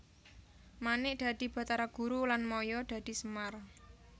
Manik dadi Bathara Guru lan Maya dadi Semar